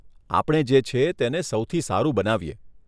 આપણે જે છે તેને સૌથી સારું બનાવીએ.